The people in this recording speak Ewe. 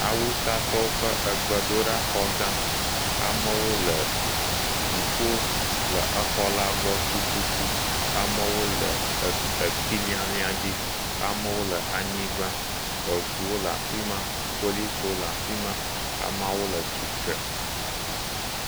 Awusatɔwo ƒe egbdoɖaxɔ gã. Amewo le dziƒo le exɔ la gbɔ tututu. Amewo le ekp ekpi lialia dzi. amewo le anyigba eŋuwo le afi ma, policiwo le afi ma, ameawo le atsite.